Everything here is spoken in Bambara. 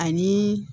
Ani